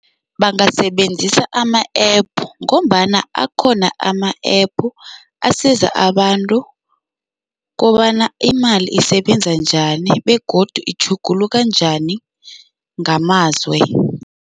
Bangasebenzisa ama-App ngombana akhona ama-App asiza abantu kobana imali isebenza njani begodu itjhuguluka njani ngamazwe.